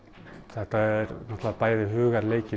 þetta er náttúrulega bæði